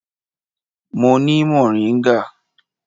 Mo ni moringa.